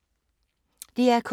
DR K